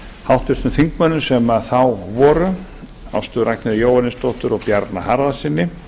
háttvirtum þingmönnum sem þá voru ástu ragnheiði jóhannesdóttur og bjarna harðarsyni